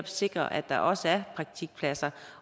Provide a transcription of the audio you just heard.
sikre at der også er praktikpladser